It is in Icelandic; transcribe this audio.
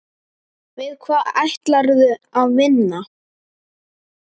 Við hvað ætlarðu að vinna?